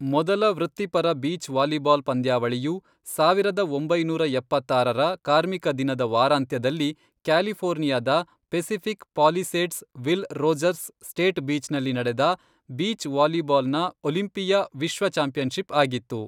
ಮೊದಲ ವೃತ್ತಿಪರ beach volleyball ಪಂದ್ಯಾವಳಿಯು, ಸಾವಿರದ ಒಂಬೈನೂರ ಎಪ್ಪತ್ತಾರರ ಕಾರ್ಮಿಕ ದಿನದ ವಾರಾಂತ್ಯದಲ್ಲಿ ಕ್ಯಾಲಿಫೋರ್ನಿಯಾದ Pacific Palisades Will Rogers State Beach ನಲ್ಲಿ ನಡೆದ ಬೀಚ್ ವಾಲಿಬಾಲ್ ನ ಒಲಿಂಪಿಯಾ ವಿಶ್ವ ಚಾಂಪಿಯನ್ಶಿಪ್ ಆಗಿತ್ತು.